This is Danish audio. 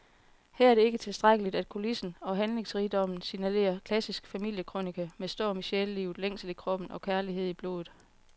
Her er det ikke tilstrækkeligt, at kulissen og handlingsrigdommen signalerer klassisk familiekrønike med storm i sjælelivet, længsel i kroppen og kærlighed i blodet.